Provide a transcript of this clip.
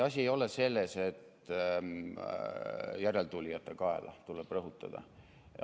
Asi ei ole selles, et järeltulijate kaela, seda tuleb rõhutada.